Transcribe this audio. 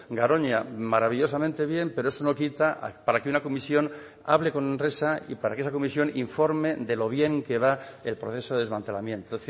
garoña maravillosamente bien pero eso no quita para que una comisión hable con enresa y para que esa comisión informe de lo bien que va el proceso de desmantelamiento